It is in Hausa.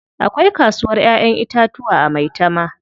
Akwai kasuwar Ƴaƴan itatuwa a Maitama.